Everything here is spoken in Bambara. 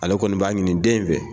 Ale kɔni b'a ɲini den in fɛ.